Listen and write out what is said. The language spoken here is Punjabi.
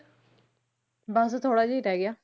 ਬਸ ਥੋੜ੍ਹਾ ਜਿਹਾ ਹੀ ਰਹਿ ਗਿਆ।